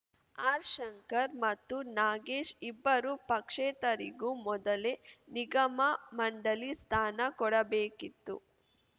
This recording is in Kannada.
ಆರ್‌ಶಂಕರ್‌ ಮತ್ತು ನಾಗೇಶ್‌ ಇಬ್ಬರೂ ಪಕ್ಷೇತರಿಗೂ ಮೊದಲೇ ನಿಗಮ ಮಂಡಳಿ ಸ್ಥಾನ ಕೊಡಬೇಕಿತ್ತು